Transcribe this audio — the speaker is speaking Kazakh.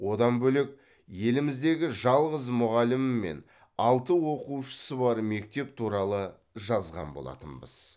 одан бөлек еліміздегі жалғыз мұғалімі мен алты оқушысы бар мектеп туралы жазған болатынбыз